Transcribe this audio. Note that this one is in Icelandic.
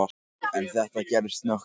En þetta gerðist snöggt.